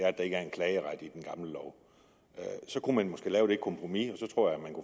at der ikke er en klageret i den gamle lov så kunne man måske lave det kompromis